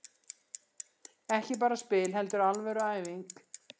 Ekki bara spil heldur alvöru æfing.